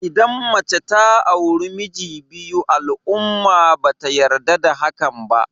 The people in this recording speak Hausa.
Idan mace ta auri miji biyu al'umma ba ta yarda da hakan ba.